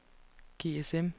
GSM